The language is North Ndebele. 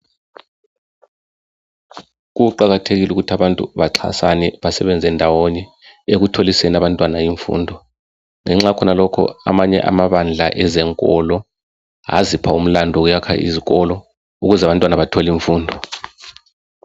Kuqakathekile ukuthi abantu baxasana besebenza ndawonye ekutholiseni abantwana imfundo ngenxa yakhonalokhu amanye amabandla ezekolo aziphq umlando wokwakha izikolo ukuze abantwana bathole imfundo.